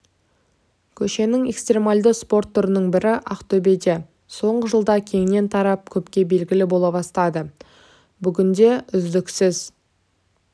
көшенің экстремалды спорт түрінің бірі ақтөбеде соңғы жылда кеңінен тарап көпке белгілі бола бастады бүгінде үздіксіз